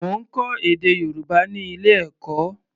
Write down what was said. Mo ń kọ́ èdè Yorùbá ní ilé-ẹ̀kọ́.